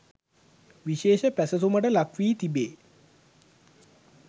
විශේෂ පැසසුමට ලක්වී තිබේ.